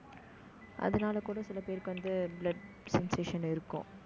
அதனால கூட, சில பேருக்கு வந்து, blood sensation இருக்கும்